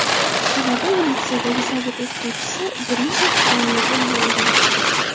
Sababi, u litseydagi sobiq o‘qituvchisi Brijit Tronyoga uylangan.